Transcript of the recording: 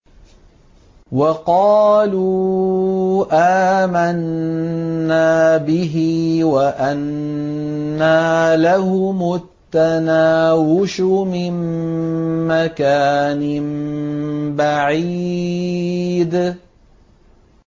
وَقَالُوا آمَنَّا بِهِ وَأَنَّىٰ لَهُمُ التَّنَاوُشُ مِن مَّكَانٍ بَعِيدٍ